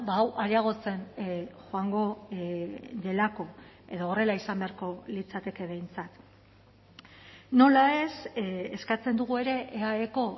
hau areagotzen joango delako edo horrela izan beharko litzateke behintzat nola ez eskatzen dugu ere eaeko